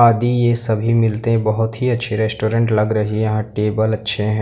आदि ये सभी मिलते हैं बहुत ही अच्छे रेस्टोरेंट लग रहे है यहां टेबल अच्छे हैं।